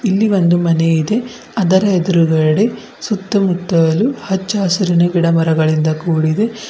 ಇಲ್ಲಿ ಒಂದು ಮನೆ ಇದೆ ಅದರ ಎದ್ರುಗಡೆ ಸುತ್ತಮುತ್ತಲೂ ಹಚ್ಚ ಹಸಿರಿನ ಗಿಡ ಮರಗಳಿಂದ ಕೂಡಿದೆ.